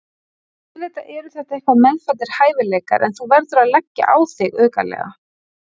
Auðvitað eru þetta eitthvað meðfæddir hæfileikar en þú verður að leggja á þig aukalega.